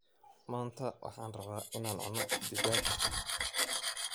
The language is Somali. Maanta waxaan rabaa in aan cuno digaag